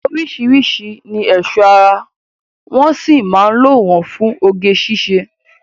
Oríṣiríṣi ni ẹ̀ṣọ́ ara wọ́ sì mán lò wọ́n fún oge síṣe.